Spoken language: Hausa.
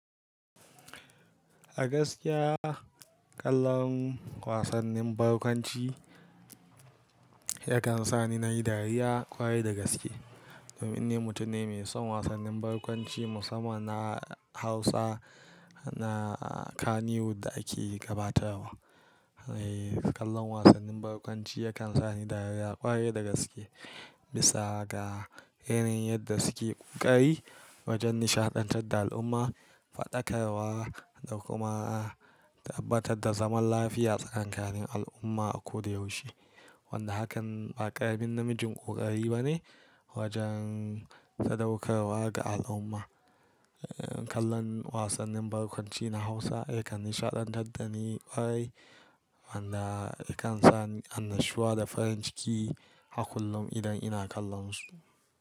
A gaskiya kallon wasannin barkwanci yakan sa ni na yi dariya kwarai da gaske. Domin ni mutum ne mai son wasannin barkwanci musamman na Hausa na kaniwood da ake gabatarwa. Eh, kallon wasannin barkwanci yakan sa ni dariya kwarai da gaske, bisa ga irin yadda suke ƙoƙari wajen nishaɗantar da al'umma, faɗakarwa da kuma tabbatar da zaman lafiya tsakanin al'umma a koyaushe. Wanda hakan ba ƙaramin namijin ƙoƙari bane wajen sadaukarwa ga al'umma. Eh, kallon wasannin barkwanci na Hausa yakan nishaɗantar da ni kwarai, wanda yakan sa ni annashuwa da farin ciki hakullum idan ina kallonsu.